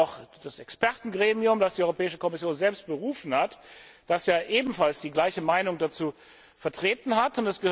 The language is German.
Es gibt auch das Expertengremium, das die Europäische Kommission selbst berufen hat, das ja ebenfalls die gleiche Meinung dazu vertreten hat.